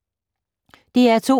DR2